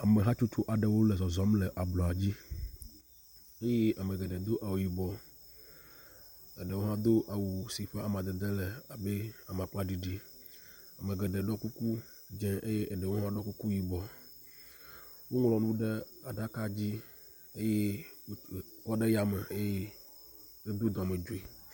Amehatsotso aɖewo le zɔzɔm le ablɔdzi ye amegeɖee do awu yibɔ amegeɖewo hã do awu si ƒe amadede le abɛ amagbaɖiɖi amegeɖe ɖo kuku dzē eye eɖewo ɖo kuku yibɔ woŋlɔnu ɖe aɖaka dzi eye wòkɔ ɖe yame eye wodó dɔmedzui